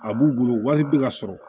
A b'u bolo wali bi ka sɔrɔ